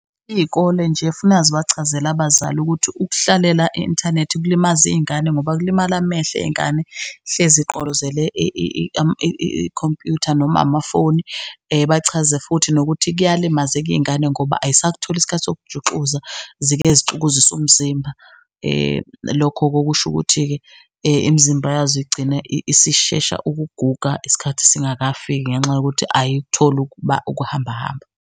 Iy'ikole nje kufuneka zibachazela abazali ukuthi ukuhlalela e-inthanethi kulimaza iy'ngane, ngoba kulimale amehlo ey'ngane, hlezi igqolozele ikhompyutha noma amafoni bachaza futhi nokuthi kuyalimazeka iy'ngane ngoba ayisakutholi isikhathi sokujuxuza zike zixukuzise umzimba, lokho okusho ukuthi-ke imizimba yazo igcine isishesha ukuguga isikhathi singakafiki, ngenxa yokuthi ayikutholi ukuhambahamba.